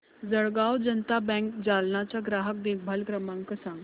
Jalgaon Janata bank Jalna चा ग्राहक देखभाल क्रमांक सांग